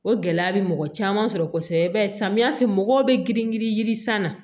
O gɛlɛya bɛ mɔgɔ caman sɔrɔ kosɛbɛ i b'a ye samiya fɛ mɔgɔw bɛ girin girin ji san na